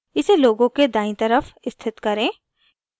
इसे logo के दायीं तरफ स्थित करें